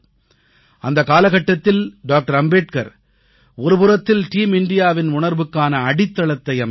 அந்தக் காலகட்டத்தில் டாக்டர் அம்பேத்கர் ஒருபுறத்தில் டீம் இந்தியாவின் டீம் இந்தியா உணர்வுக்கான அடித்தளத்தை அமைத்தார்